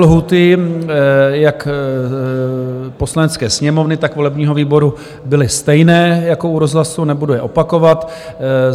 Lhůty jak Poslanecké sněmovny, tak volebního výboru byly stejné jako u rozhlasu, nebudu je opakovat.